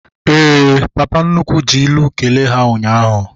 Éè, papa nnukwu ji ilu kelee ha ụnyaahụ